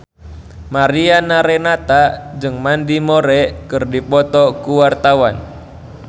Mariana Renata jeung Mandy Moore keur dipoto ku wartawan